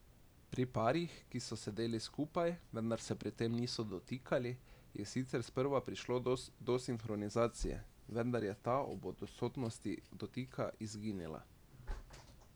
Pri parih, ki so sedeli skupaj, vendar se pri tem niso dotikali, je sicer sprva prišlo do sinhronizacije, vendar je ta ob odsotnosti dotika izginila.